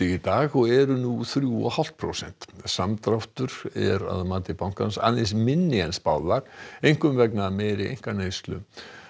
í dag og eru nú þrjú og hálft prósent samdráttur er að mati bankans aðeins minni en spáð var einkum vegna meiri einkaneyslu